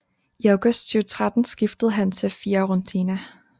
I august 2013 skiftede han til Fiorentina